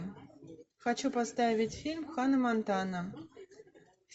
хочу поставить фильм ханна монтана